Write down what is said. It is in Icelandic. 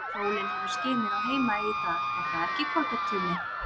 Sólin hefur skinið á Heimaey í dag, er það ekki, Kolbeinn Tumi?